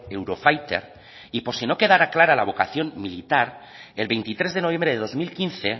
eurofighter y por si no quedará clara la vocación militar el veintitrés de noviembre de dos mil quince